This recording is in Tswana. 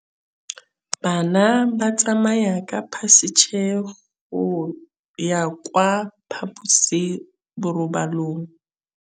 Bana ba tsamaya ka phašitshe go ya kwa phaposiborobalong.